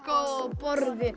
borðið